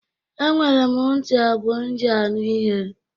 Enwere m ntị abụọ m ji anụ ihe.